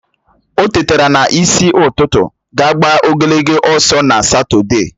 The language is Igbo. O tetara n'isi ụtụtụ ga gbaa ogologo ọsọ na Satọde